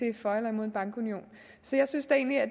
er for eller imod en bankunion så jeg synes da egentlig at